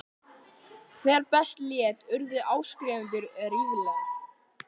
Þegar best lét urðu áskrifendur ríflega